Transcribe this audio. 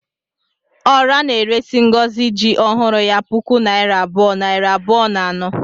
Ora na-eresi Ngozi ji ọhụrụ ya puku naira abụọ, nari abụọ na anọ